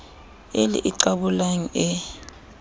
e le e qabolang e